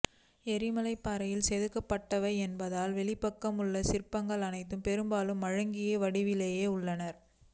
எரிமலைப்பாறையில் செதுக்கப்பட்டவை என்பதனால் வெளிப்பக்கம் உள்ள சிற்பங்கள் அனைத்தும் பெரும்பாலும் மழுங்கிய வடிவிலேயே உள்ளன